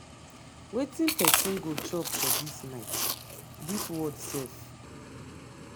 wetin person go chop for dis night? dis world sef.